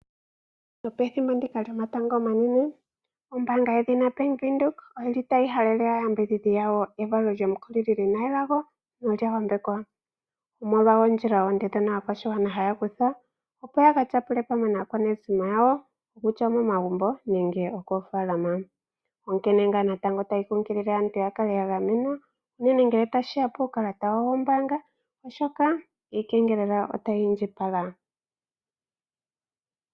Nopethimbo ndika lyomatango omanene, ombaanga yedhina Bank Windhoek oyili tayi halele aayambidhidhi yayo evalo lyomukulili lina elago nolya yambekwa, omolwa oondjila oonde dhono aakwashigwana haya kutha opo yaka tyapule pamwe naakwanezimo yawo kutya omomagumbo nenge okoofaalama, onkene ngaa natango tayi nkunkilile aantu ya kale ya gamenwa ngele tashiya puukalata wayo wombaanga oshoka iikengelela otayi indjipala.